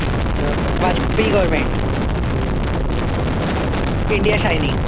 India shining.